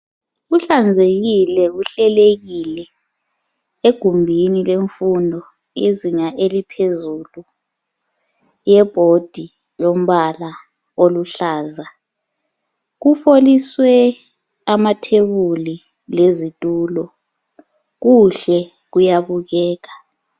Kuhlanzekile kuhlelekile egumbini lemfundo yezinga eliphezulu kulebhodi elombala oluhlaza kufoliswe amathebuli lezitulo kuhle kuyabukeka